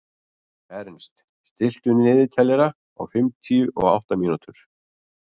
Ernst, stilltu niðurteljara á fimmtíu og átta mínútur.